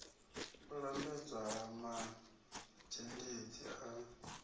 u lambedzwa ha mazhendedzi a